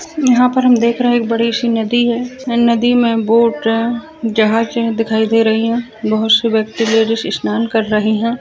यहाँ पर हम देख रहे है एक बड़ी सी नदी है नदी मे बोट है जहाज है दिखाई दे रही है बहोत सी व्यक्ति जो है सी स्नान कर रही है।